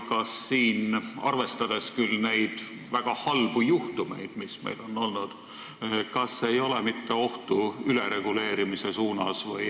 Kas siin, arvestades väga halbu juhtumeid, mis meil on olnud, ei ole mitte ülereguleerimise ohtu?